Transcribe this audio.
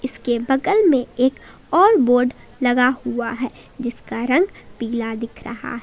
इसके बगल में एक और बोर्ड लगा हुआ है जिसका रंग पीला दिख रहा--